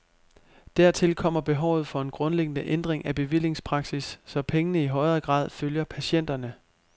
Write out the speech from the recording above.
Dertil kommer behovet for en grundlæggende ændring af bevillingspraksis, så pengene i højere grad følger patienterne.